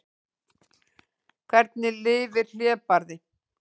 Hvernig lifir hlébarði?